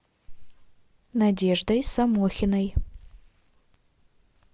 надеждой самохиной